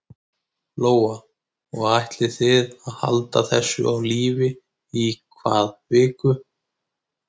Lóa: Og ætlið þið að halda þessu á lífi í hvað viku?